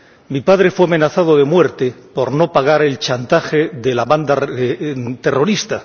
Mi padre fue amenazado de muerte por no pagar el chantaje de la banda terrorista.